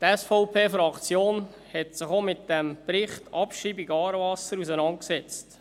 Die SVP-Fraktion hat sich auch mit dem Bericht zur Abschreibung «Aarewasser» auseinandergesetzt.